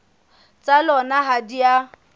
tsa lona ha di a